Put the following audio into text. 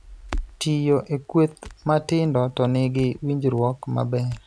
Tiyo e kweth matindo to nigi winjruok maber,